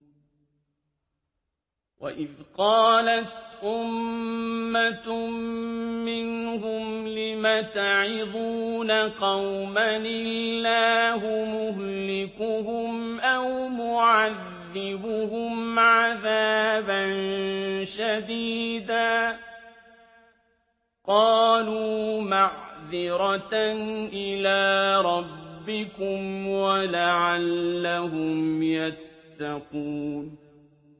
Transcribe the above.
وَإِذْ قَالَتْ أُمَّةٌ مِّنْهُمْ لِمَ تَعِظُونَ قَوْمًا ۙ اللَّهُ مُهْلِكُهُمْ أَوْ مُعَذِّبُهُمْ عَذَابًا شَدِيدًا ۖ قَالُوا مَعْذِرَةً إِلَىٰ رَبِّكُمْ وَلَعَلَّهُمْ يَتَّقُونَ